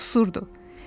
qorxusudur.